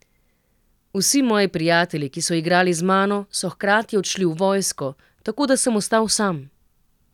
Vsi moji prijatelji, ki so igrali z mano, so hkrati odšli v vojsko, tako da sem ostal sam.